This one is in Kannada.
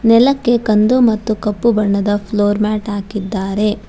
ನೆಲಕ್ಕೆ ಕಂದು ಮತ್ತು ಕಪ್ಪು ಬಣ್ಣದ ಫ್ಲೋರ್ ಮ್ಯಾಟ್ ಹಾಕಿದ್ದಾರೆ.